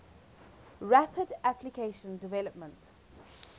rapid application development